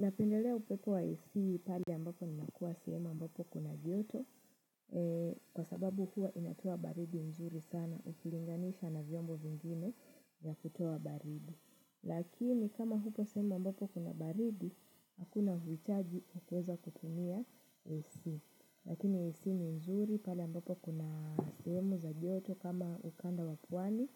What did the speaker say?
Napendelea upepo wa AC pali ambapo ninakua sehemu ambapo kuna joto kwa sababu huwa inatoa baridi nzuri sana ukilinganisha na vyombo vingine ya kutua baridi. Lakini kama hupo sehemu ambapo kuna baridi, hakuna vichaji kukweza kutunia AC Lakini AC ni nzuri pali ambapo kuna sema za yoto kama ukanda wapwani